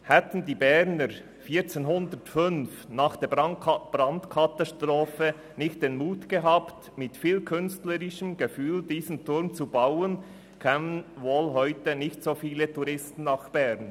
Hätten die Berner 1405 nach der Brandkatastrophe nicht den Mut gehabt, mit viel künstlerischem Gefühl diesen Turm zu bauen, kämen heute wohl nicht so viele Touristen nach Bern.